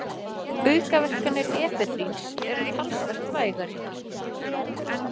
Aukaverkanir efedríns eru talsvert vægari.